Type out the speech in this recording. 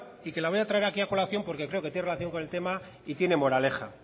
y que la voy a traer aquí a colación porque creo que tiene relación con el tema y tiene moraleja